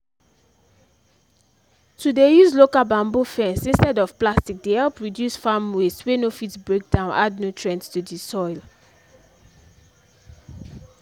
to dey use local bamboo fence instead of plastic dey help reduce farm waste wey no fit breakdown add nutrient to the soil